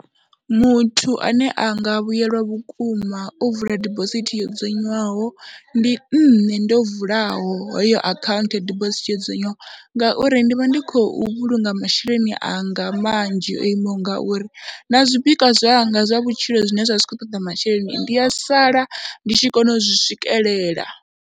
Muthu ane a nga vhuyelwa vhukuma o vula dibosithi yo dzudzanywaho ndi nṋe ndo vulaho heyo akhaunthu ya dibosithi yo dzudzanywaho, ngauri ndi vha ndi khou vhulunga masheleni anga manzhi o imaho ngauri na zwipikwa zwanga zwa vhutshilo zwine zwa vha zwi khou ṱoḓa masheleni ndi a sala ndi tshi kona u zwi swikelela.